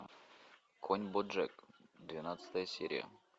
конь боджек двенадцатая серия